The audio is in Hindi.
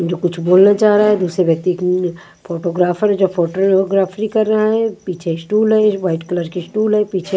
जो कुछ बोलना चाह रहा है दूसरे व्यक्ति के नि फोटोग्राफर है जो फोटोग्राफी कर रहा है। पीछे स्टूल है व्हाइट कलर के स्टूल है। पीछे --